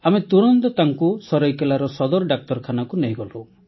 ଆମେ ତୁରନ୍ତ ତାଙ୍କୁ ସରାଇକେଲାର ସଦର ଡାକ୍ତରଖାନାକୁ ନେଇଗଲୁ